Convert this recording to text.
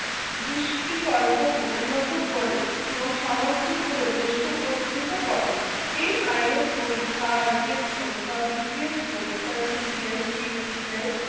দৃষ্টিকল্প কে উন্নত করে এবং সামাজিক ভাবে দেশকে উপরোক্ত করে এই IAS পরীক্ষা IPSBCS পরীক্ষা CGSCHS এ